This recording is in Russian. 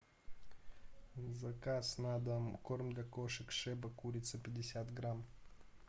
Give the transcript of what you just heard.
заказ на дом корм для кошек шеба курица пятьдесят грамм